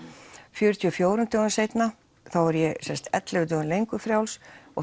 fjörutíu og fjórum dögum seinna þá er ég ellefu dögum lengur frjáls og